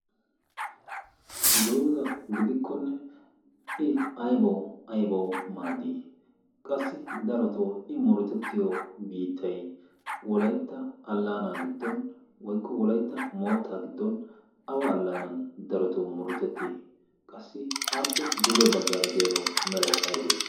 dooza gidikkonne i aibawu aibawu maaddii? qassi darotoo i murutettiyo biittai wolaitta allaanaa giddon woikko wolaitta mootta giddon awa allaanan darotoo murutettii? qassi aappe duge baggaara deyaagawu merai aibee?